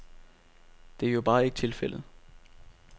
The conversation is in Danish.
Det er jo bare ikke tilfældet.